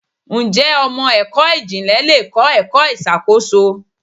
Ǹjẹ́ ọmọ ẹ̀kọ́ ìmò ìjìnlẹ̀ le kọ́ ẹ̀kọ́ ìṣàkóso?